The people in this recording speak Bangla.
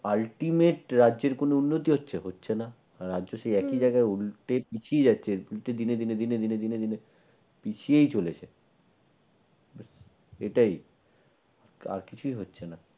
ultimate রাজ্যের কোন উন্নতি হচ্ছে হচ্ছে না। হম রাজ্য সেই একই জায়গায় উল্টে পিছিয়ে যাচ্ছে। দিনে দিনে দিনে দিনে দিনে পিছিয়ে চলেছে। এটাই। আর কিছুই হচ্ছে না